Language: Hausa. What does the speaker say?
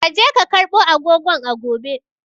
Ka je ka karbo agogon a gobe!